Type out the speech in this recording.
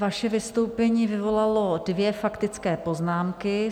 Vaše vystoupení vyvolalo dvě faktické poznámky.